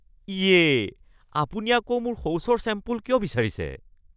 ইয়ে। আপুনি আকৌ মোৰ শৌচৰ ছেম্পল কিয় বিচাৰিছে?